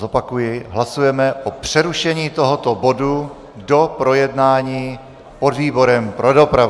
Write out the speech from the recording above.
Zopakuji, hlasujeme o přerušení tohoto bodu do projednání podvýborem pro dopravu.